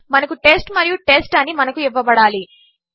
మనకు టెస్ట్ మరియు టెస్ట్ అనిమనకుఇవ్వబడాలి